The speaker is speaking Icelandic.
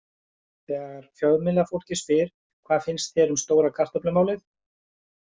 Þegar fjölmiðlafólkið spyr: Hvað finnst þér um stóra kartöflumálið?